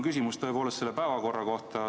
Mul on tõepoolest küsimus päevakorra kohta.